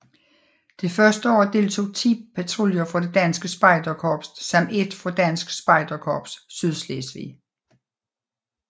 Det første år deltog 10 patruljer fra Det Danske Spejderkorps samt 1 fra Dansk Spejderkorps Sydslesvig